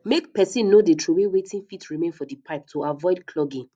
make person no de trowey wetin fit remain for the pipe to avoid clogging